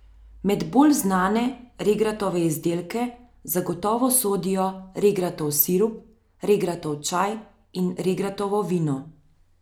Med bolj znane regratove izdelke zagotovo sodijo regratov sirup, regratov čaj in regratovo vino.